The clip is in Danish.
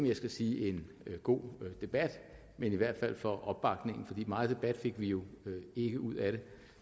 jeg skal sige en god debat men i hvert fald for opbakningen for meget debat fik vi jo ikke ud af det